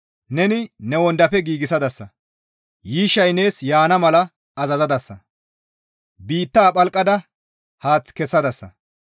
Neni ne wondafe giigsadasa; yiishshay nees yaana mala azazadasa; biitta phalqada haath kessadasa.